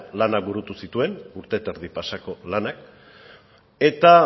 lanak burutu zituen urte eta erdi pasako lanak eta